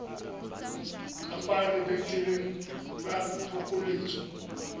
ka fa lebenkeleng la phokoletso